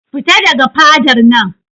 Fita daga fadar nan!